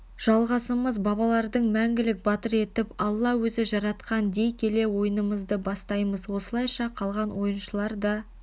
жалғасымыз бабалардың мәңгілік батыр етіп алла өзі жаратқан дей келе ойынымызды бастаймыз осылайша қалған ойыншылар да